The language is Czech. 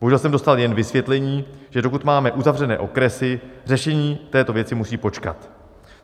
Bohužel jsem dostal jen vysvětlení, že dokud máme uzavřené okresy, řešení této věci musí počkat.